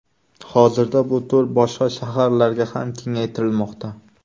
Hozirda bu to‘r boshqa shaharlarga ham kengaytirilmoqda.